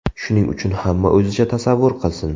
Shuning uchun hamma o‘zicha tasavvur qilsin.